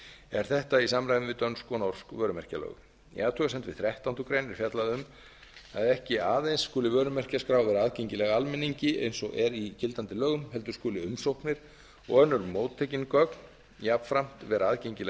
er þetta í samræmi við dönsk og norsk vörumerkjalög í athugasemd við þrettándu grein er fjallað um að ekki aðeins skuli vörumerkjaskrá vera aðgengileg almenningi eins og er í gildandi lögum heldur skulu umsóknir og önnur móttekin gögn jafnframt vera aðgengileg